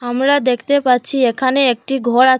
আমরা দেখতে পাচ্ছি এখানে একটি ঘর আ--